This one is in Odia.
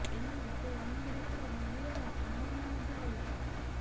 ତେଣୁ ସେ ଅନେକ ରେକର୍ଡ ଭାଙ୍ଗିବାର ସମ୍ଭାବନା ମଧ୍ୟ ରହିଛି